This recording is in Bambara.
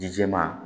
Dije ma